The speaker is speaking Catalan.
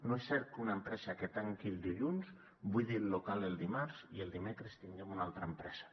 no és cert que una empresa que tanqui el dilluns buidi el local el dimarts i el dimecres tinguem una altra empresa